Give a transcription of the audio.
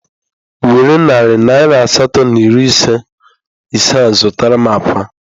Were narị naira asatọ na iri ise a zụtara m akwa